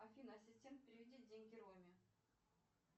афина ассистент переведи деньги роме